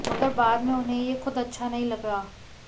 मगर बाद में उन्हें ये ख़ुद अच्छा नहीं लगा